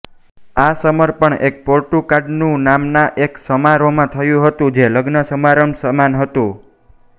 આ સમર્પણ એક પોટુકાટ્ટુ નામના એક સમારોહમાં થતું હતું જે લગ્ન સમારંભ સમાન હતું